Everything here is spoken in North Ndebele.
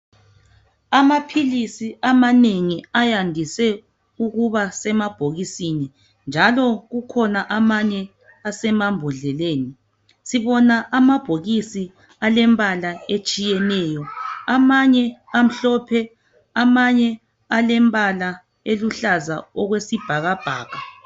Amaphilisi amanengi ayandise ukubasemabhokisini njalo amanye emambhodleleni. Sibona amabhokisi alembala etshiyeneyo amanye amhlophe amanye alembala eluhlaza okwesibhakabhaka.